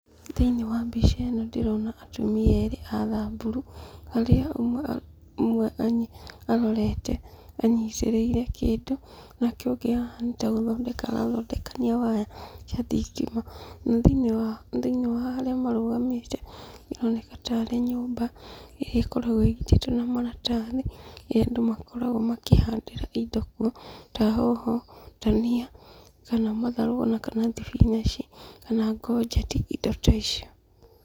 Thĩinĩ wa mbica ĩno ndĩrona atumia erĩ a thamburu, harĩa ũmwe arorete, anyitĩrĩire kĩndũ, nake ũngĩ haha nĩtagũthondekania arathondekania waya cia thitma, na thĩinĩ wa, thĩinĩ wa harĩa marũgamĩte, ĩroneka tarĩ nyũmba, ĩrĩa ĩkoragwo ĩgitĩtwo na maratathi, ĩrĩa andũ makoragwo makĩhandĩra indo kuo, ta hoho, ndania, kana matharũ onakana thibinaci, kana ngonjeti, indo ta icio.